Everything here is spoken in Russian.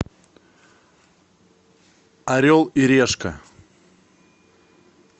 орел и решка